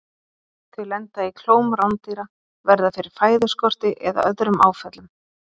Þau lenda í klóm rándýra, verða fyrir fæðuskorti eða öðrum áföllum.